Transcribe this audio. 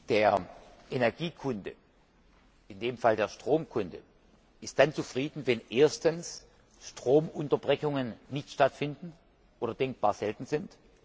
Der Energiekunde, in dem Fall der Stromkunde, ist dann zufrieden, wenn erstens Stromunterbrechungen nicht stattfinden oder denkbar selten sind.